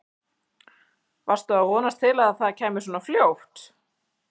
Varstu að vonast til að það kæmi svona fljótt?